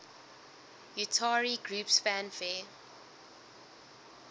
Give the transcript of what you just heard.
utari groups fanfare